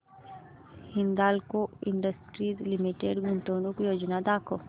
Hindalco industries limited गुंतवणूक योजना दाखव